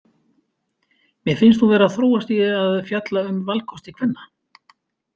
Mér finnst hún vera að þróast í að fjalla um valkosti kvenna.